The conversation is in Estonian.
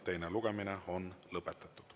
Teine lugemine on lõpetatud.